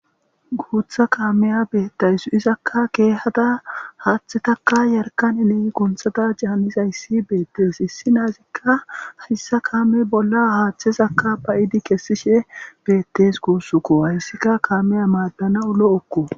guutha kaameya beettayssu izakka keehada haaththetaka yarkaninee kunthada jaanizayssi beettees hissi naazikka hayssa kaame bolla haaththezakka bayidi kessishe beettes kuussuko hayssikka kaameya maaddana ulo okko